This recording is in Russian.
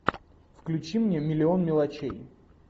включи мне миллион мелочей